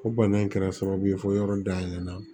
Ko bana in kɛra sababu ye fo yɔrɔ dayɛlɛ